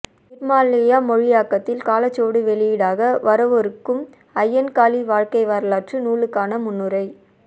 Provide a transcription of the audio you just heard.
நிர்மால்யா மொழியாக்கத்தில் காலச்சுவடு வெளியீடாக வரவொருக்கும் அய்யன்காளி வாழ்க்கை வரலாற்று நூலுக்கான முன்னுரை